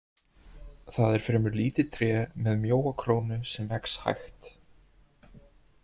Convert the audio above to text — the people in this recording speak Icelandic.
Það er fremur lítið tré með mjóa krónu sem vex hægt.